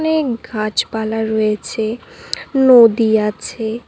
অনেক গাছপালা রয়েছে নদী আছে।